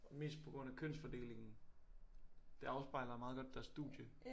Mest på grund af kønsfordelingen det afspejler meget godt deres studie